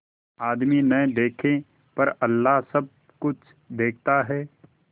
आदमी न देखे पर अल्लाह सब कुछ देखता है